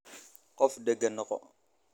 qof dagaan noqo.